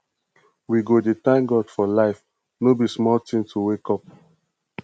we go dey thank god for life no be small tin to wake up